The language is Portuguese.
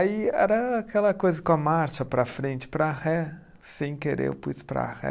Aí era aquela coisa com a marcha para frente, para ré, sem querer eu pus para ré.